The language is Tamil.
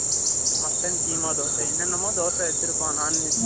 mutton keema தோசை என்னமோ தோசை வச்சியிருப்பான் non veg